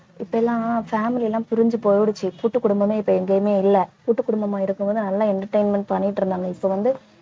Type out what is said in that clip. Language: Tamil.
இப்ப எல்லாம் family எல்லாம் பிரிஞ்சு போயிடுச்சு கூட்டுக் குடும்பமே இப்ப எங்கேயுமே இல்லை கூட்டுக்குடும்பமா இருக்கும்போது நல்லா entertainment பண்ணிட்டு இருந்தாங்க இப்போ வந்து